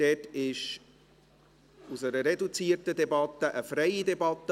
Dort wurde aus einer reduzierten Debatte eine freie Debatte.